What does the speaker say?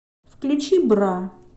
включи бра